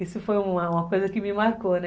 Isso foi uma coisa que me marcou, né?